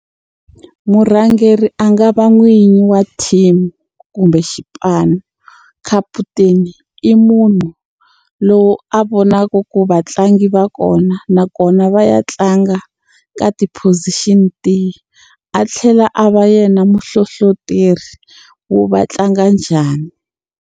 Murhangeri a nga va n'winyi wa team kumbe xipano kaputeni i munhu lowu a vonaka ku vatlangi va kona nakona va ya tlanga ka ti-position tihi a tlhela a va yena muhlohloteri wo va tlanga njhani.